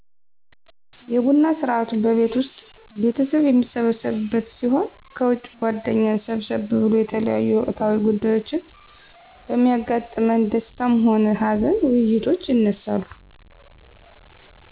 የቡና ስርአቱ በቤት ዉስጥ ቤተሰብ የሚሰበሰብበት ሲሆን ከዉጭ ጓደኛ ሰብሰብ ብሎ የተለያዮ ወቅታዊ ጉዳዮች በሚያጋጥመን ደስታም ሆነ ሀዘን ዉይይቶች ይነሳሉ